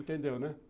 Entendeu, né?